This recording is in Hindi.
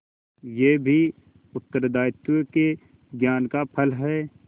यह भी उत्तरदायित्व के ज्ञान का फल है